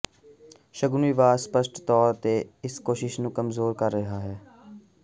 ਸ਼ੂਗਨ ਵਿਵਾਦ ਸਪੱਸ਼ਟ ਤੌਰ ਤੇ ਇਸ ਕੋਸ਼ਿਸ਼ ਨੂੰ ਕਮਜ਼ੋਰ ਕਰ ਰਿਹਾ ਹੈ